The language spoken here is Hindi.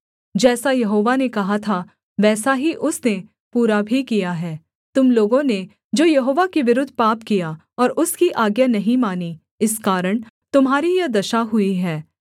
जैसा यहोवा ने कहा था वैसा ही उसने पूरा भी किया है तुम लोगों ने जो यहोवा के विरुद्ध पाप किया और उसकी आज्ञा नहीं मानी इस कारण तुम्हारी यह दशा हुई है